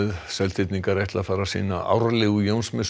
Seltirningar ætla að fara sína árlegu